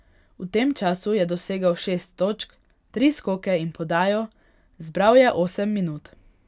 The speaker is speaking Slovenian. V tem času je dosegel šest točk, tri skoke in podajo, zbral je osem minut.